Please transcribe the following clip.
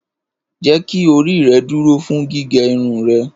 Jeki ori rẹ duro fun gige irun rẹ!